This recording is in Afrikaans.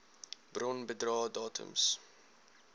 bron bedrae datums